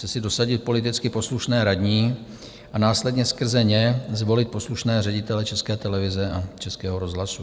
Chce si dosadit politicky poslušné radní a následně skrze ně zvolit poslušné ředitele České televize a Českého rozhlasu.